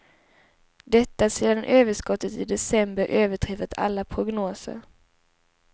Detta sedan överskottet i december överträffat alla prognoser.